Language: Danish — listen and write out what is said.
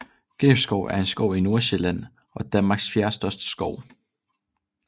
Gribskov er en skov i Nordsjælland og Danmarks fjerdestørste skov